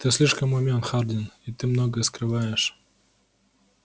ты слишком умён хардин и ты многое скрываешь